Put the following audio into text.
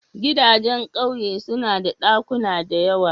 Gidajen ƙauye suna da ɗakuna da yawa.